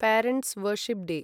parents' worship day